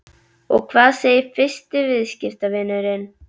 Og hvað segir fyrsti viðskiptavinurinn?